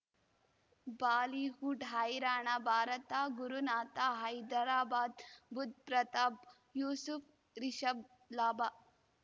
Bollywood ಹೈರಾಣ ಭಾರತ ಗುರುನಾಥ ಹೈದರಾಬಾದ್ ಬುಧ್ ಪ್ರತಾಪ್ ಯೂಸುಫ್ ರಿಷಬ್ ಲಾಭ